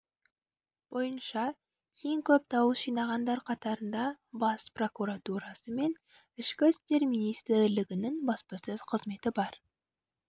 бойынша ең көп дауыс жинағандар қатарында бас прокуратурасы мен ішкі істер министрлігінің баспасөз қызметі бар